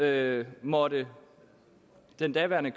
det måtte den daværende